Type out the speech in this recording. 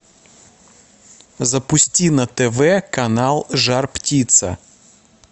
запусти на тв канал жар птица